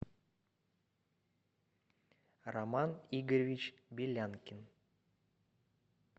роман игоревич белянкин